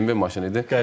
BMW maşını idi.